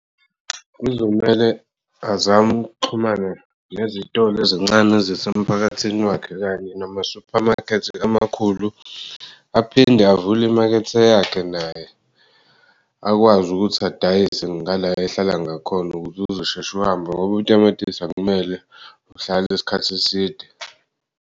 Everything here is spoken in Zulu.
Kuzomele azam'ukuxhumana nezitolo ezincane ezisemphakathini wakhe kanye nama-supermarket amakhulu aphinde avule imakethe yakhe naye akwazi ukuthi adayise ngala ehlala ngakhona ukuze uzoshesh'uhambe ngob'utamatisi akumele uhlale isikhathi eside.